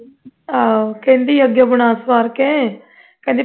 ਆਹੋ ਅੱਗੋਂ ਕਹਿੰਦੀ ਬਣਾ ਸੁਆਰ ਕੇ ਕਹਿੰਦੀ